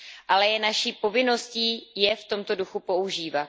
Ale je naší povinností je v tomto duchu používat.